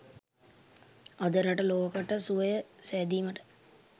අද රට ලොවකට සුවය සැදීමට